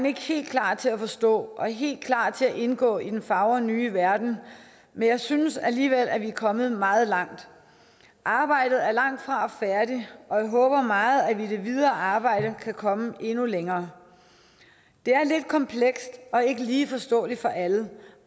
ikke helt klar til at forstå og helt klar til at indgå i den fagre nye verden men jeg synes alligevel at vi er kommet meget langt arbejdet er langtfra færdigt og jeg håber meget at vi i det videre arbejde kan komme endnu længere det er lidt komplekst og ikke lige forståeligt for alle